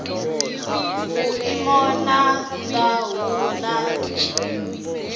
vhuimo ha nha hu na